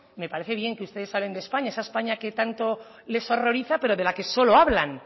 me parece bien que ustedes hablen de españa esa españa que tanto les horroriza pero de la que sobre hablan